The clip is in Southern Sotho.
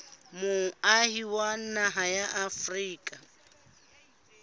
moahi wa naha ya afrika